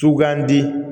Sugandi